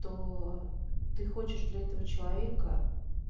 то ты хочешь для этого человека